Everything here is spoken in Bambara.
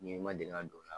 N ye i ma deli ka don o la